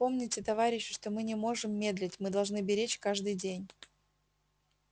помните товарищи что мы не можем медлить мы должны беречь каждый день